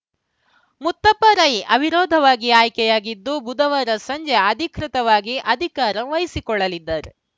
ಮುತ್ತಪ್ಪ ರೈ ಅವಿರೋಧವಾಗಿ ಆಯ್ಕೆಯಾಗಿದ್ದು ಬುಧವಾರ ಸಂಜೆ ಅಧಿಕೃತವಾಗಿ ಅಧಿಕಾರ ವಹಿಸಿಕೊಳ್ಳಲಿದ್ದಾರ್